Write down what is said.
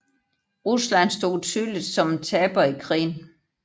Rusland stod tydeligt som en taber i krigen